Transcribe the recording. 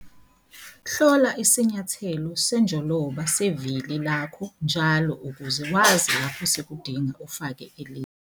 Hlola isinyathelo senjoloba sevili lakho njalo ukuze wazi lapho sekudinga ufake elinye